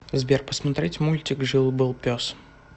сбер посмотреть мультик жил был пес